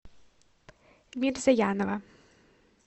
мирзаянова